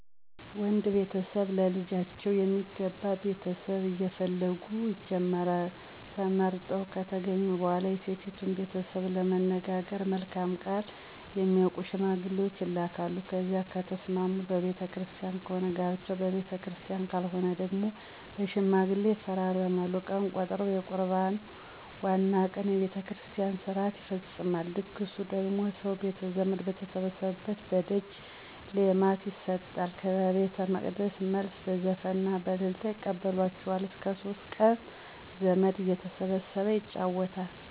ወንድ ቤተሰብ ለልጃቸው የሚገባ ቤተሰብ እየፈለጉ ይጀምራሉ። ተመርጠው ከተገኙ በኋላ የሴቲቱን ቤተሰብ ለመነጋገር መልካም ቃል የሚያውቁ ሸማግሌዎች ይላካሉ። ከዚያ ከተስማሙ በቤተ ክርስቲያን ከሆነ ጋብቻው በቤተክርስቲያን ካልሆነ ደግሞ በሽማግሌ ይፈራረማሉ። ቀን ይቆረጣል። የቁርባኑ ዋናው ቀን በቤተ ክርስቲያን ሥርዓት ይፈፀማል። ድግሱ ደግሞ ሰው ቤተዘመድ በተሰበሰበበት በደጅ ሌማት ይጣላል። ከቤተመቅደስ መልስ በዘፈንና በእልልታ ይቀበላቸዋል። እስከ ሶስት ቀን ዘመድ እየተሰበሰበ ይጫወታል።